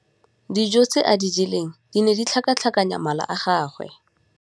Dijô tse a di jeleng di ne di tlhakatlhakanya mala a gagwe.